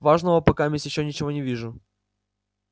важного покаместь ещё ничего не вижу